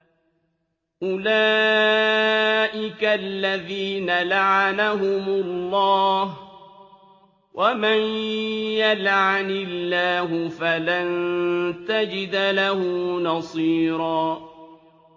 أُولَٰئِكَ الَّذِينَ لَعَنَهُمُ اللَّهُ ۖ وَمَن يَلْعَنِ اللَّهُ فَلَن تَجِدَ لَهُ نَصِيرًا